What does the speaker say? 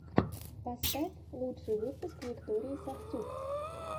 поставь лучший выпуск виктории сафтюк